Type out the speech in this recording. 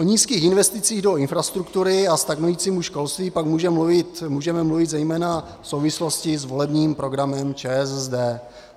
O nízkých investicích do infrastruktury a stagnujícím školství pak můžeme mluvit zejména v souvislosti s volebním programem ČSSD.